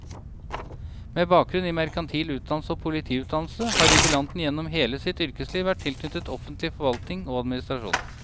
Med bakgrunn i merkantil utdannelse og politiutdannelse har jubilanten gjennom hele sitt yrkesliv vært tilknyttet offentlig forvaltning og administrasjon.